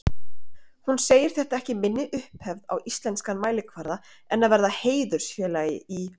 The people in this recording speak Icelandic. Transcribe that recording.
Hún segir þetta ekki minni upphefð á íslenskan mælikvarða en að verða heiðursfélagi í